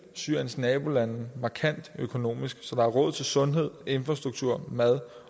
syriens nabolande markant økonomisk så der er råd til sundhed infrastruktur mad